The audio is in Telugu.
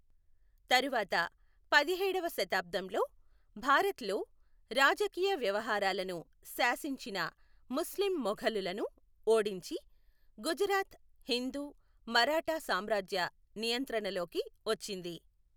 తరువాత పదిహేడవ శతాబ్దంలో, భారత్ లో రాజకీయ వ్యవహారాలను శాసించిన ముస్లిం మొఘలులను ఓడించి, గుజరాత్ హిందూ మరాఠా సామ్రాజ్య నియంత్రణలోకి వచ్చింది.